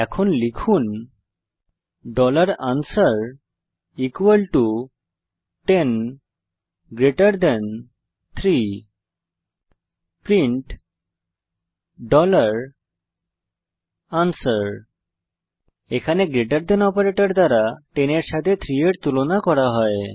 এখন লিখুন answer 10 3 print answer এখানে গ্রেটের থান অপারেটর দ্বারা 10 এর সাথে 3 এর তুলনা করা হয়